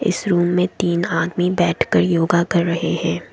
इस रूम में तीन आदमी बैठकर योगा कर रहे हैं।